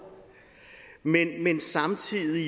men samtidig